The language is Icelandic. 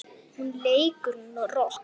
Hún leikur rokk.